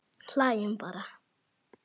Hlæjum bara.